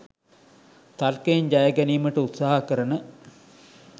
තර්කයෙන් ජයගැනීමට උත්සහ කරන